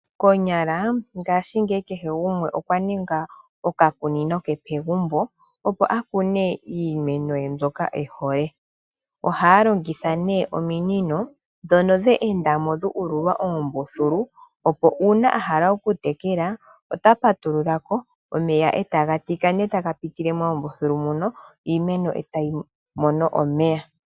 Konyala ngaashingeyi kehe gumwe okwa ninga okakunino ke pegumbo opo akune iimeno ye mbyoka ehole. Ohaya longitha ominino ndhono dhe endamo dhuululwa oombululu opo uuna ahala okutekela, ota patululako, omeya etaga tika taga endele moombululu muno, etaga tekele iimeno.